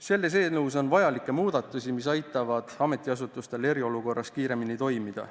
Selles eelnõus on vajalikke muudatusi, mis aitavad ametiasutustel eriolukorras kiiremini toimida.